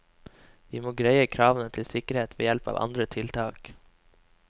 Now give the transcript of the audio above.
Vi må greie kravene til sikkerhet ved hjelp av andre tiltak.